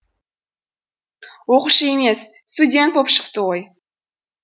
оқушы емес студент боп шықты ғой